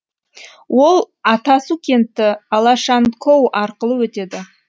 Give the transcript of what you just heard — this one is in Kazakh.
ол атасу кенті алашанкоу арқылы өтеді